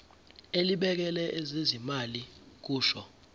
elibhekele ezezimali kusho